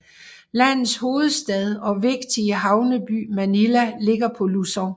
Landets hovedstad og vigtige havneby Manila ligger på Luzon